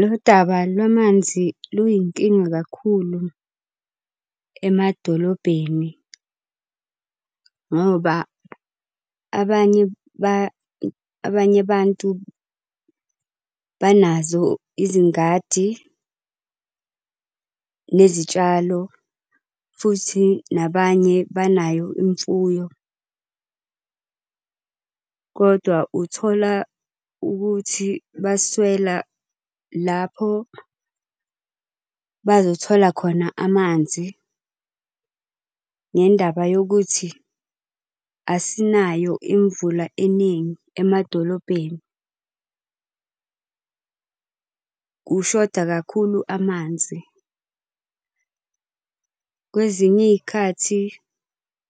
Lo daba lwamanzi luyinkinga kakhulu emadolobheni ngoba abanye , abanye abantu banazo izingadi, nezitshalo, futhi nabanye banayo imfuyo. Kodwa uthola ukuthi baswela lapho bazothola khona amanzi ngendaba yokuthi asinayo imvula eningi emadolobheni. Kushoda kakhulu amanzi, Kwezinye iy'khathi